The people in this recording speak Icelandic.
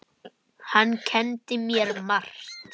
Hann kenndi mér margt.